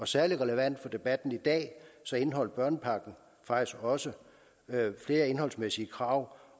særlig relevant for debatten i dag indeholdt børnepakken faktisk også flere indholdsmæssige krav